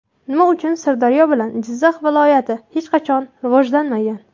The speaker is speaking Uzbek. Nima uchun Sirdaryo bilan Jizzax viloyati hech qachon rivojlanmagan?